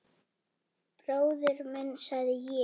Bróðir minn, sagði ég.